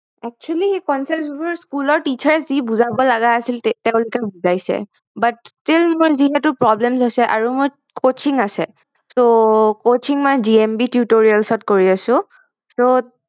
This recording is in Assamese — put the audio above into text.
Actually সেই Concepts বোৰ School ৰ Teacher এ যি বুজাব লগা আছিল তেওলোকে বুজাইছে But still মই যিহেতু Problem হৈছে আৰু মই Coaching আছে আৰু Coaching মই JMBTutorials ত কৰি আছো So